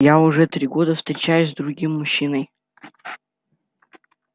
я уже три года встречаюсь с другим мужчиной